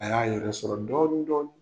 A y'a yɛrɛ sɔrɔ dɔɔnin dɔɔnin.